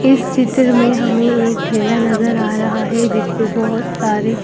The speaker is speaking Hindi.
इस चित्र में हमें एक ठेला नजर आ रहा है जिस पर बहुत सारे--